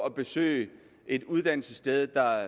at besøge et uddannelsessted der